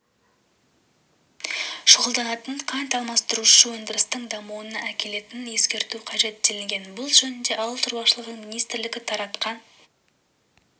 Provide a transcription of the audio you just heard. шұғылданатын қант алмастырушы өндірістің дамуына әкелетінін ескеру қажет делінген бұл жөнінде ауыл шаруашылығы министрлігі таратқан